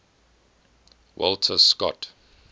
walter scott